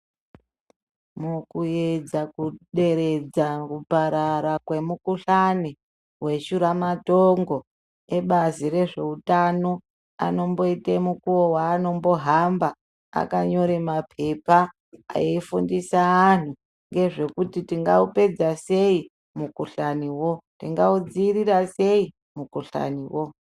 Mukuyedza ku deredza kuparara kwe mukuhlani we shura matongo ebazi re zveutano anomboite mukuwo wanombo hamba akanyore mapepa eyi fundisa anhu ngezvekuti tinga upedza sei mu kuhlani wo tinga udzivirira sei mu kuhlani wo.